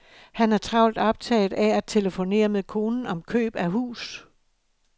Han er travlt optaget af at telefonere med konen om køb af hus.